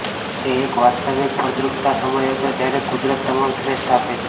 તે એક વાસ્તવિક ફળદ્રુપતા સમય હતો જ્યારે કુદરત તમામ શ્રેષ્ઠ આપે છે